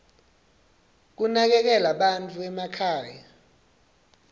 kunakekela bantfu emakhaya